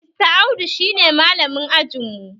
Mr audu shi ne malamin ajin mu